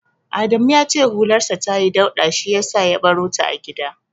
Adamu ya ce hularsa tayi dauɗa shi yasa ya barota a gida.